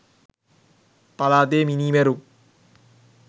පළාතේ මිනීමැරුම්